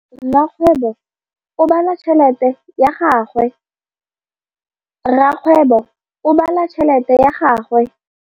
Rakgwêbô o bala tšheletê ya gagwe.